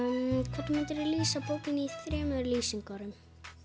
hvernig myndirðu lýsa bókinni í þremur lýsingarorðum